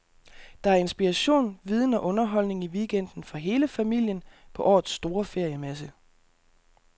Der er inspiration, viden og underholdning i weekenden for hele familien på årets store feriemesse.